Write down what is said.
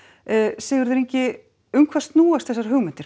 Sigurður Ingi um hvað snúast þessar hugmyndir